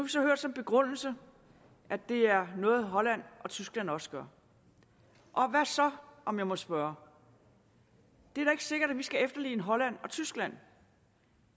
så hørt som begrundelse at det er noget holland og tyskland også gør og hvad så om jeg må spørge det er da ikke sikkert at vi skal efterligne holland og tyskland